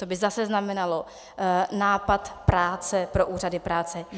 To by zase znamenalo nápor práce pro úřady práce.